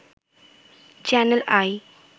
channel I